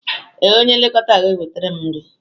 Ee, onye nlekọta ga-ewetara m nri.